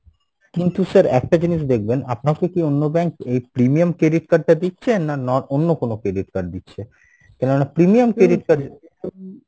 কিন্তু sir একটা জিনিস দেখবেন আপনাকে কী অন্য bank এই premium credit card টা দিচ্ছে? না, অন্য কোনো credit card দিচ্ছে কেননা premium credit card